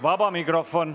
Vaba mikrofon.